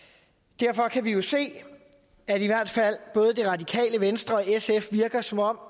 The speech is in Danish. derfor kan vi jo se at i hvert fald både det radikale venstre og sf virker som om